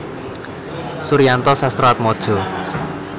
Suryanto Sastroatmojo